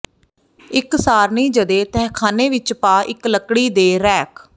ਇੱਕ ਸਾਰਣੀ ਜ ਦੇ ਤਹਿਖਾਨੇ ਵਿਚ ਪਾ ਇੱਕ ਲੱਕੜੀ ਦੇ ਰੈਕ